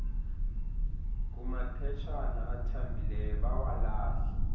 kumaphetshana athambileyo bawalahle